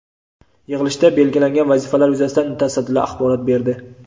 Yig‘ilishda belgilangan vazifalar yuzasidan mutasaddilar axborot berdi.